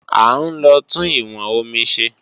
À ń lọ tún ìwọn omi ṣe